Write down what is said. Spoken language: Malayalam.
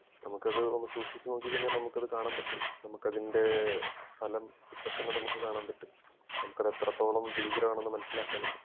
നമുക്കത് ഒന്ന് സൂക്ഷിച്ച് നോക്കി കഴിഞ്ഞാൽ നമുക്ക് അത് കാണാൻ പറ്റും നമുക്കതിൻ്റെ ഫലം ഇപ്പൊത്തന്നെ നമുക്ക് അത് കാണാൻ പറ്റും നമുക്ക് അത് എത്രത്തോളം ഭീകരം ആണെന്ന് മനസിലാക്കാനും പറ്റും